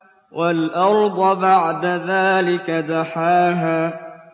وَالْأَرْضَ بَعْدَ ذَٰلِكَ دَحَاهَا